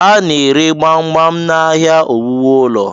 A na-ere gbam gbam n'ahịa ihe owuwu ụlọ.